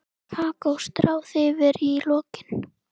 Kakó stráð yfir í lokin.